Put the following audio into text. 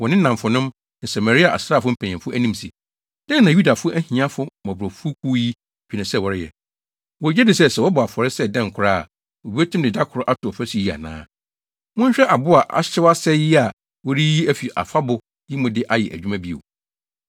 wɔ ne nnamfonom ne Samaria asraafo mpanyimfo anim se, “Dɛn na Yudafo ahiafo, mmɔborɔfokuw yi dwene sɛ wɔreyɛ? Wogye di sɛ, sɛ wɔbɔ afɔre sɛ dɛn koraa a, wobetumi de da koro ato ɔfasu yi ana? Monhwɛ abo a ahyew asɛe yi a wɔreyiyi afi afabo yi mu de ayɛ adwuma bio?”